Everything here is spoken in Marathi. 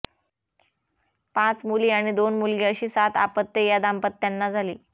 पाच मुली आणि दोन मुलगे अशी सात अपत्ये या दाम्पत्यांना झाली